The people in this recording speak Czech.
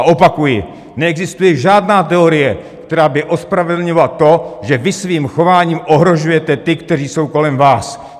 A opakuji: Neexistuje žádná teorie, která by ospravedlňovala to, že vy svým chováním ohrožujete ty, kteří jsou kolem vás.